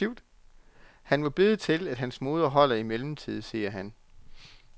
Han må bede til, at hans moder holder i mellemtiden, siger han.